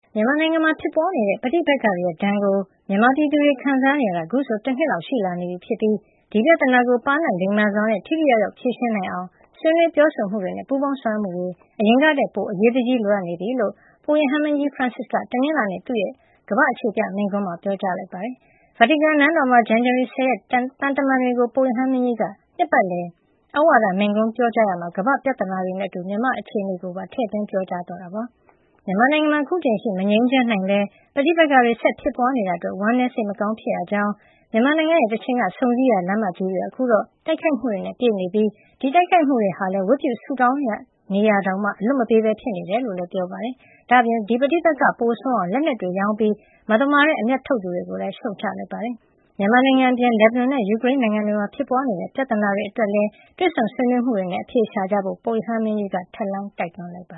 မြန်မာနိုင်ငံမှာ ဖြစ်ပွါးနေတဲ့ ပဋိပက္ခတွေရဲ့ ဒဏ်ကို မြန်မာပြည်သူတွေခံစားနေရတာ ခုဆို တနှစ်လောက်ရှိလာနေပြီဖြစ်ပြီး ဒီပြဿနာကို ပါးနပ်လိမ္မာစွာနဲ့ ထိထိရောက်ရောက် ဖြေရှင်းနိုင်အောင် ဆွေးနွေးပြောဆိုမှုတွေနဲ့ ပူးပေါင်းဆောင်ရွက်မှုတွေ အရင်ကထက်ပိုပြီး အရေးတကြီးလိုအပ်နေပြီဖြစ်ကြောင်း ပုပ်ရဟန်းမင်းကြီး ဖရန်စစ်က တနင်္လာနေ့ သူ့ရဲ့ ကမ္ဘာ့အခြေပြ မိန့်ခွန်းမှာ ပြောကြားလိုက်ပါတယ်။ ဗာတီကန်နန်းတော်မှာ ဇန်နဝါရီလ ၁၀ ရက်က သံတမန်တွေကို ပုပ်ရဟန်းမင်းကြီးက နှစ်ပတ်လည်သြဝါဒမိန့်ခွန်းပြောကြားခဲ့ရာမှာ ကမ္ဘာ့ပြဿနာတွေနဲ့ အတူ မြန်မာနိုင်ငံက အခြေနေကိုပါ ထည့်သွင်းပြောကြားသွားတာပါ။ မြန်မာနိုင်ငံမှာ အခုချိန်အထိ မငြိမ်းချမ်းနိုင်ဘဲ ပဋိပက္ခတွေ ဆက်လက်ဖြစ်ပွါးနေတာ အတွက် ဝမ်းနည်းစိတ်မကောင်းဖြစ်ရကြောင်း၊ မြန်မာနိုင်ငံရဲ့ တချိန်က ဆုံစည်းရာ လမ်းမကြီးတွေဟာ အခုတော့ တိုက်ခိုက်မှုတွေနဲ့ ပြည့်နေပြီး ဒီတိုက်ခိုက်မှုတွေကလည်း ဝတ်ပြုဆုတောင်းရာနေရာတောင် အလွတ်မပေးပဲ ဖြစ်နေတယ်လို့လည်း ပြောပါတယ်။ ဒါ့အပြင် ဒီ ပိုဆိုးအောင် လက်နက်တွေရောင်းပြီး မသမာတဲ့ အမြတ်ထုတ်သူတွေကိုလည်း ရှုတ်ချလိုက်ပါတယ်။ မြန်မာနိုင်ငံ အပြင် လက်ဘနွန်နဲ့ ယူကရိန်းနိုင်ငံတွေမှာ ဖြစ်ပွါးနေတဲ့ ပြဿနာတွေ အတွက်လည်း တွေ့ဆုံဆွေးနွေးမှုတွေနဲ့ အဖြေရှာကြဖို့ ပုပ်ရဟန်းမင်းကြီးက ထပ်လောင်းတိုက်တွန်းလိုက်ပ